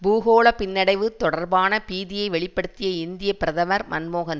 பூகோள பின்னடைவு தொடர்பான பீதியை வெளி படுத்திய இந்திய பிரதமர் மன்மோகன்